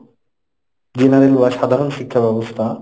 , general বা সাধারণ শিক্ষাব্যবস্থা,